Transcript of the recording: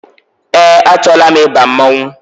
Eé, achọọla m ịba mmọnwụ.